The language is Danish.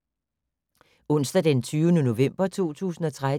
Onsdag d. 20. november 2013